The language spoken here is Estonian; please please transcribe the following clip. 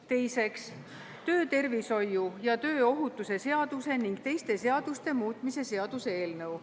Teiseks, töötervishoiu ja tööohutuse seaduse ning teiste seaduste muutmise seaduse eelnõu.